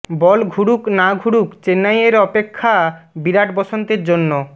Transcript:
বল ঘুরুক না ঘুরুক চেন্নাইয়ের অপেক্ষা বিরাট বসন্তের জন্য